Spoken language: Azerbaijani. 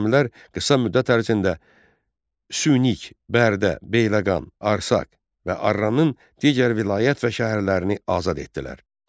Xürrəmlər qısa müddət ərzində Sükin, Bərdə, Beyləqan, Arsaq və Arranın digər vilayət və şəhərlərini azad etdilər.